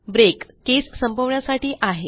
break केस संपवण्यासाठी आहे